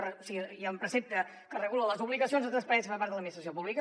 o sigui hi ha un precepte que regula les obligacions de transparència per part de l’administració pública